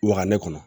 Wagani kɔnɔ